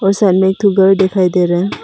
सामने दो घर दिखाई दे रहा है।